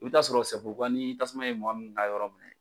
I bɛ t'a sɔrɔ ni tasuma ye mɔgɔ min ka yɔrɔ minɛ